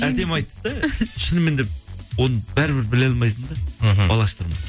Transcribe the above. әдемі айтты да шынымен де оны бәрібір біле алмайсың да мхм бал аштырмай